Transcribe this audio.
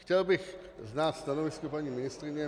Chtěl bych znát stanovisko paní ministryně.